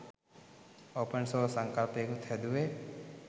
open සෝස් සංකල්පයකුත් හැදුවේ